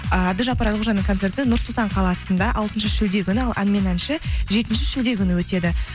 ыыы әбдіжаппар әлқожаның концерті нұр сұлтан қаласында алтыншы шілде күні ал ән мен әнші жетінші шілде күні өтеді